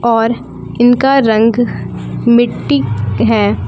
और इनका रंग मिट्टी है।